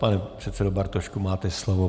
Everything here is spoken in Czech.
Pane předsedo Bartošku, máte slovo.